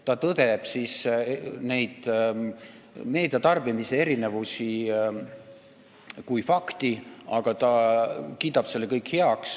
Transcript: Ta tõdeb meediatarbimise erinevusi kui fakti, aga kiidab selle heaks.